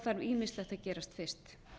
þarf ýmislegt að gerast fyrst